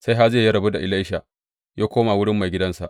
Sai Hazayel ya rabu da Elisha ya koma wurin maigidansa.